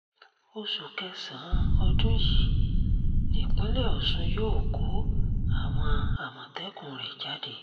oṣù kẹsàn-án ọdún yìí nípínlẹ̀ ọ̀ṣun yóò kó àwọn àmọ̀tẹ́kùn rẹ̀ jáde